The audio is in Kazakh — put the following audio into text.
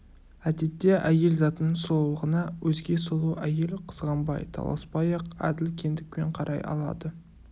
әдетте әйел затының сұлулығына өзге сұлу әйел қызғанбай таласпай-ақ әділ кендікпен қарай алады